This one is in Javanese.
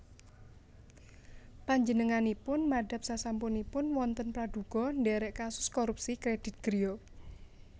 Panjenenganipun madhap sasampunipun wonten pradhuga ndherek kasus korupsi kredit griya